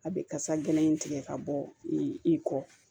A bɛ kasa gɛlɛn in tigɛ ka bɔ i kɔ